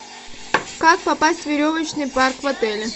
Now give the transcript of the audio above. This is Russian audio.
как попасть в веревочный парк в отеле